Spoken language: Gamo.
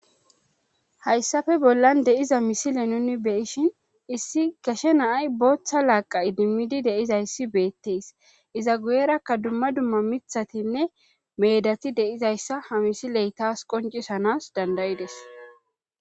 HayssaPe bollan dE'iza misile nuni beyishin issi gashe naay booththa laaqa idimmidi deizayssi beettees iza guyerakka dumma dumma mithatinne meedati deizayssa ha misiley taas qoncisanas dandayides.